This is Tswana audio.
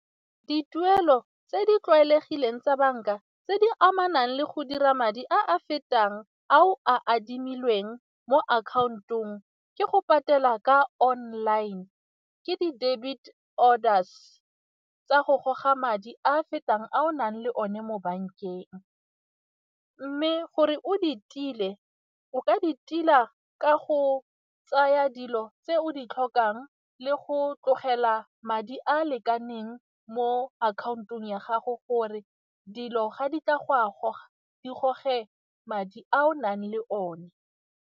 Dituelo tse di tlwaelegileng tsa banka tse di amanang le go dira madi a a fetang ao a adimilweng mo account-ong ke go patela ka online, ke di debit orders ka go goga madi a a fetang a o nang le one mo bankeng mme gore o di tile o ka di tila ka go tsaya dilo tse o di tlhokang le go tlogela madi a a lekaneng mo akhaontong ya gago gore dilo ga di tla go a goga di goge madi a o nang le one.